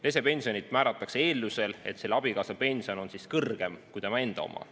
Lesepension määratakse eeldusel, et abikaasa pension on kõrgem kui inimese enda oma.